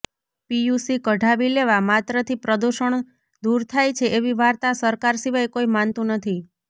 PUC કઢાવી લેવા માત્રથી પ્રદૂષણ દૂર થાય છે એવી વાર્તા સરકાર સિવાય કોઇ માનતું નથી